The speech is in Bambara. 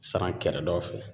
Saran kɛrɛdaw fɛ